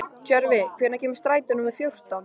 Tjörvi, hvenær kemur strætó númer fjórtán?